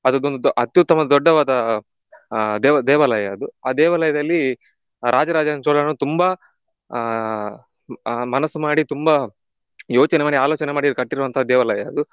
ಅದು ಅತ್ಯುತ್ತಮ ದೊಡ್ಡವಾದ ದೇವ್~ ದೇವಾಲಯ ಅದು. ಆ ದೇವಾಲಯಾದಲ್ಲಿ ರಾಜ ರಾಜ ಚೋಳನು ತುಂಬಾ ಆಹ್ ಆಹ್ ಮನಸು ಮಾಡಿ ತುಂಬಾ ಯೋಚನೆ ಮಾಡಿ ಆಲೋಚನೆ ಮಾಡಿ ಕಟ್ಟಿರುವಂತಹ ದೇವಾಲಯ ಅದು.